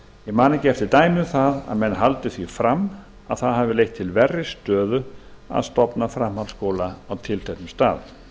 man ekki eftir dæmi um að menn haldi því fram að það hafi leitt til verri stöðu að stofna framhaldsskóla á tilteknum stað